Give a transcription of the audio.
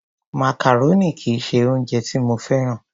Macaroni kì í ṣe oúnjẹ tí mo féràn.